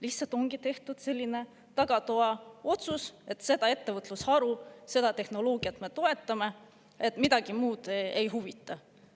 Lihtsalt ongi tehtud selline tagatoa otsus, et seda ettevõtlusharu, seda tehnoloogiat me toetame, miski muu ei huvita.